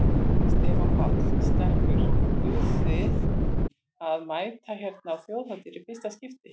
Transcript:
Stefán Páll: Stelpur eruð þið að mæta hérna á Þjóðhátíð í fyrsta skipti?